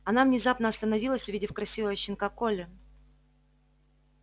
она внезапно остановилась увидев красивого щенка колли